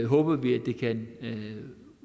håber vi kan